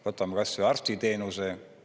Võtame kas või arstiteenuse.